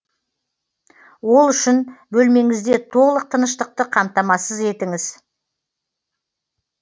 ол үшін бөлмеңізде толық тыныштықты қамтамасыз етіңіз